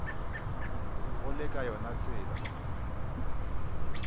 go le ka yona tsela